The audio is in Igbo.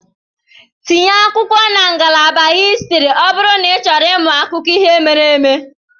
Tinye akwụkwọ na ngalaba histri ọ bụrụ n'ịchọrọ ịmụ akụkọ ihe mere eme.